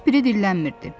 Heç biri dillənmirdi.